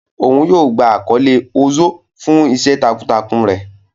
Oun yoo gba akọle Ozo fun iṣẹ takuntakun rẹ